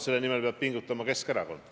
Selle nimel peab pingutama ka Keskerakond.